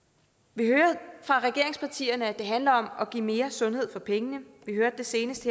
vi hører fra regeringspartierne at det handler om at give mere sundhed for pengene senest